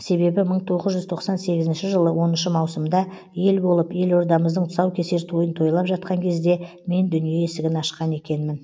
себебі мың тоғыз жүз тоқсан сегізінші жылы оныншы маусымда ел болып елордамыздың тұсаукесер тойын тойлап жатқан кезде мен дүние есігін ашқан екенмін